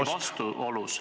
... sellega risti vastuolus.